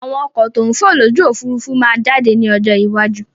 Àwọn ọkọ̀ to ń fò lójú Òfurufú máa jáde ní ọjọ́ iwájú